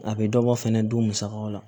A bɛ dɔ bɔ fɛnɛ du musakaw la